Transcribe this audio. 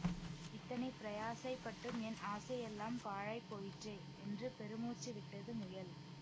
இத்தனை பிரயாசைப்பட்டும் என் ஆசை எல்லாம் பாழாய் போயிற்றே என்று பெருமூச்சுவிட்டது முயல்